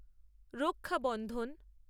রক্ষা বন্ধন